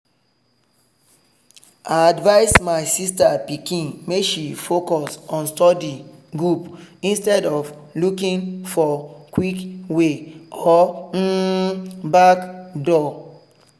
i advise my sister pikin make she focus on study group instead of looking for quick way or um backdoor.